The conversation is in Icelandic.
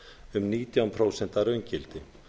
um nítján prósent að raungildi